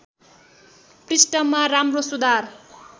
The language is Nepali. पृष्ठमा राम्रो सुधार